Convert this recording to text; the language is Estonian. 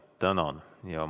Tänan!